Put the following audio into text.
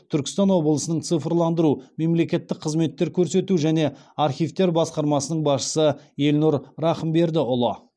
түркістан облысының цифрландыру мемлекеттік қызметтер көрсету және архивтер басқармасының басшысы елнұр рахымбердіұлы